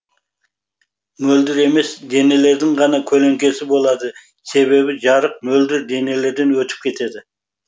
мөлдір емес денелердің ғана көлеңкесі болады себебі жарық мөлдір денелерден өтіп кетеді